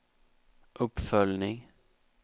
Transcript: uppföljning